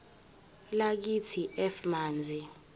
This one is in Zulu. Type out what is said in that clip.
lakithi f manzi